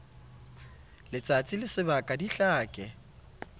letsatsi le sebaka di hlake